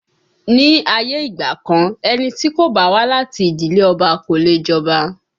Ní ayé ìgbà kan, ẹni tí kò bá wá láti ìdílé Ọba kò leè jọba